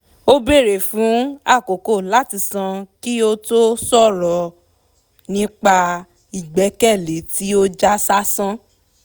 ó béèrè fún àkókò láti sàn kí ó tó ṣòrọ̀ nípa ìgbẹkẹ̀lé tí ó já sásán